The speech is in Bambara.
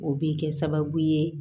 O bɛ kɛ sababu ye